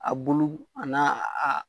A bulu a n'a a